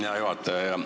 Hea juhataja!